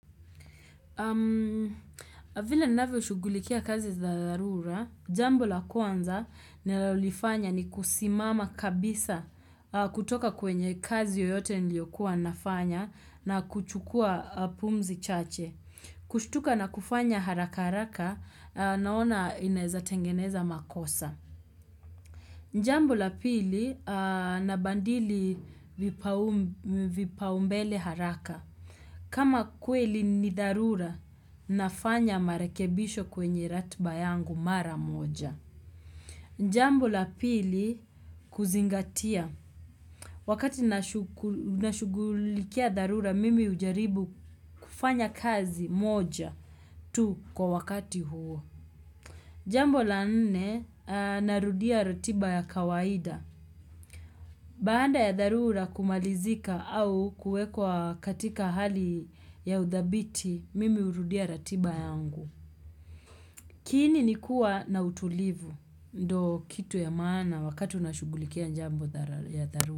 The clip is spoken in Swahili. Vila ninavyo shugulikia kazi za dharura, jambo la kwanza nalolifanya ni kusimama kabisa kutoka kwenye kazi yoyote niliokuwa nafanya na kuchukua pumzi chache. Kushtuka na kufanya haraka haraka naona inaeza tengeneza makosa. Njambo la pili, nabandili vipaumbele haraka. Kama kweli ni dharura, nafanya marekebisho kwenye ratiba yangu mara moja. Njambu la pili, kuzingatia. Wakati nashugulikia dharura, mimi hujaribu kufanya kazi moja tu kwa wakati huo. Jambo la nne, narudia ratiba ya kawaida. Baanda ya dharura kumalizika au kuwekwa katika hali ya udhabiti, mimi urudia ratiba yangu. Kiini ni kuwa na utulivu, ndo kitu ya maana wakati unashugulikia njambo ya dharura.